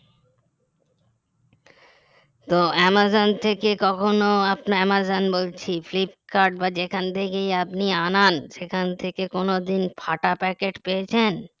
তো অ্যামাজন থেকে কখনো আপনি অ্যামাজন বলছি ফ্লিপকার্ট বা যেখান থেকেই আপনি আনান সেখান থেকে কোনদিন ফাটা packet পেয়েছেন